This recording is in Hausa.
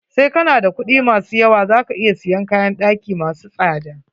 Sai kana da kuɗi ma su yawa, za ka iya siyan kayn ɗaki masu tsada.